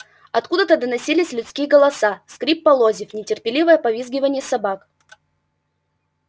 откуда-то доносились людские голоса скрип полозьев нетерпеливое повизгивание собак